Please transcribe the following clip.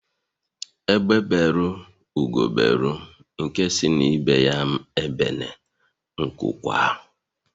Egbe beru Ugo beru nke si ibe ya ebene nku kwaa